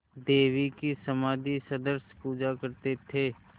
देवी की समाधिसदृश पूजा करते थे